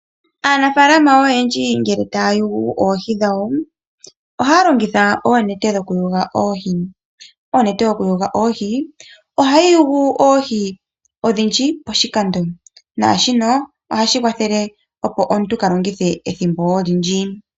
Aanafalama oyendji ngele taya yugu oohi dhawo oha ya longitha oonete dhokuyuga oohi. Onete yokuyuga oohi oha yi yugu oohi odhindji poshikando naashino oha shi kwathele opo omuntu kaa longithe ethimbo olindji.